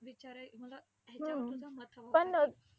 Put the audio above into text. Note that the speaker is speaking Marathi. विचार अं मला ह्याच्यावर तुझं मत हवं होतं